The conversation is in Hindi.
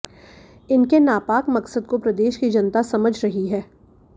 इनके नापाक मकसद को प्रदेश की जनता समझ रही है